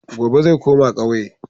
Gobe ​​zai koma kauye.